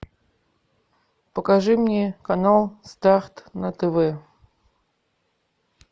покажи мне канал старт на тв